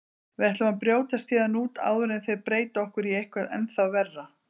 Við ætlum að brjótast héðan út áður en þeir breyta okkur í eitthvað ennþá verra.